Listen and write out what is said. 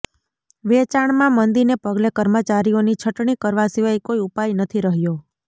વેચાણમાં મંદિને પગલે કર્મચારીઓની છટણી કરવા સિવાય કોઈ ઉપાય નથી રહ્યો